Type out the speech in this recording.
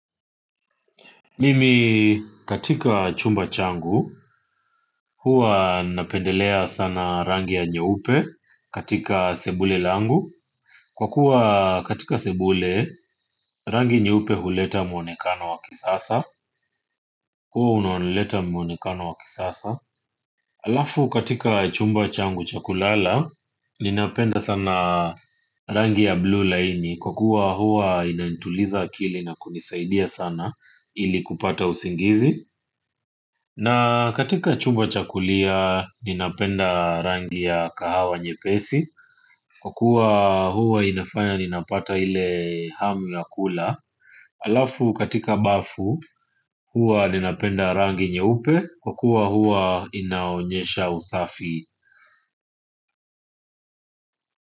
Mimi katika chumba changu, huwa napendelea sana rangi ya nyeupe katika sebule langu. Kwa kuwa katika sebule, rangi nyeupe huleta mwonekano wa kisasa huwa unaoleta mwonekano wa kisasa haafu katika chumba changu cha kulala, ninapenda sana rangi ya blue laini. Kwa kuwa hua inainituliza akili na kunisaidia sana ili kupata usingizi. Na katika chumba cha kulia ninapenda rangi ya kahawa nyepesi. Kukua huwa inafanya ninapata ile hamu ya kula halafu katika bafu huwa ninapenda rangi nyeupe. Kwa kuwa huwa inaonyesha usafi.